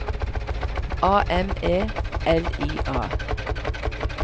A M E L I A